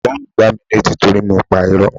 Ìyá mi gbá mi ní etí torí mo pa irọ́.